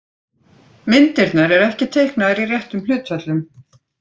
Myndirnar eru ekki teiknaðar í réttum hlutföllum.